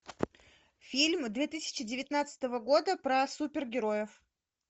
фильмы две тысячи девятнадцатого года про супергероев